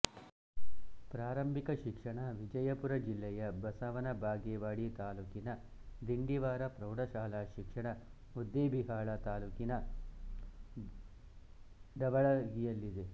ಪ್ರಾರಂಭಿಕ ಶಿಕ್ಷಣ ವಿಜಯಪುರ ಜಿಲ್ಲೆಯ ಬಸವನ ಬಾಗೇವಾಡಿ ತಾಲ್ಲೂಕಿನ ದಿಂಡವಾರ ಪ್ರೌಢಶಾಲಾ ಶಿಕ್ಷಣ ಮುದ್ದೇಬಿಹಾಳ ತಾಲ್ಲೂಕಿನ ಢವಳಗಿಯಲ್ಲಿ